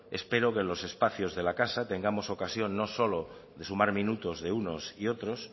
espero que en los espacios de la casa tengamos ocasión no solo de sumar minutos de unos y otros